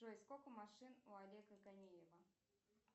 джой сколько машин у олега ганиева